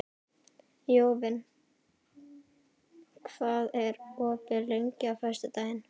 Jóvin, hvað er opið lengi á föstudaginn?